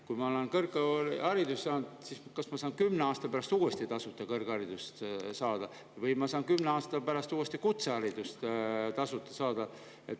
Kui ma olen kõrghariduse saanud, siis kas ma saan kümne aasta pärast uuesti tasuta kõrgharidust või ma saan kümne aasta pärast uuesti tasuta kutseharidust?